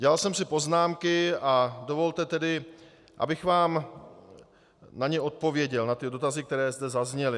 Dělal jsem si poznámky a dovolte tedy, abych vám na ně odpověděl, na ty dotazy, které zde zazněly.